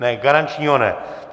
Ne, garančního ne.